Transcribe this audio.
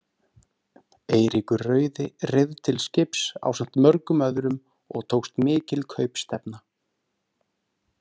Eiríkur rauði reið til skips ásamt mörgum öðrum og tókst mikil kaupstefna.